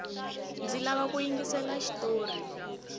ndzi lava ku yingisela xitori